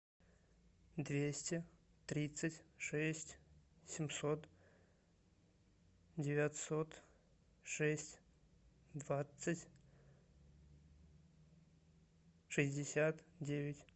двести тридцать шесть семьсот девятьсот шесть двадцать шестьдесят девять